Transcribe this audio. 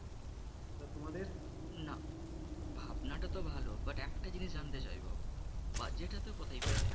না ভাবনা টা তো ভালো but একটা জিনিস জানতে চাইবো budget এতো কোথায় পেলে?